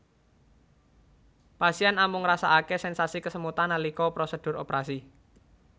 Pasien amung ngrasakaké sensasi kesemutan nalika prosedur operasi